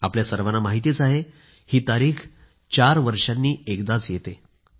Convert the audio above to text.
आपल्या सर्वांना माहीत आहेच ही तारीख चार वर्षांनी एकदाच येते